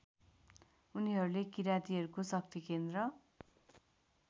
उनीहरूले किरातीहरूको शक्तिकेन्द्र